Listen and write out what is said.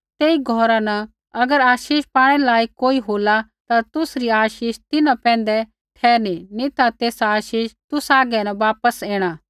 तेई घौरा न अगर आशीष पाणै लायक कोई होला ता तुसरी आशीष तिन्हां पैंधै ठहरनी नी ता तेसा आशीष तुसा हागै वापस ऐणा